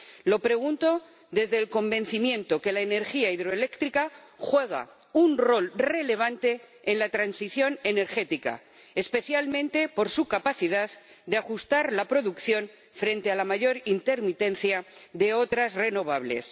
Lo pregunto desde el convencimiento de que la energía hidroeléctrica juega un rol relevante en la transición energética, especialmente por su capacidad de ajustar la producción frente a la mayor intermitencia de otras renovables.